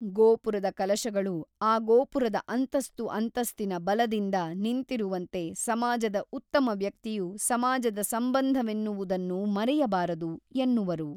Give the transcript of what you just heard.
ಗೋಪುರದ ಕಲಶಗಳು ಆ ಗೋಪುರದ ಅಂತಸ್ತು ಅಂತಸ್ತಿನ ಬಲದಿಂದ ನಿಂತಿರುವಂತೆ ಸಮಾಜದ ಉತ್ತಮ ವ್ಯಕ್ತಿಯು ಸಮಾಜದ ಸಂಬಂಧವೆನ್ನುವುದನ್ನು ಮರೆಯಬಾರದು ಎನ್ನುವರು.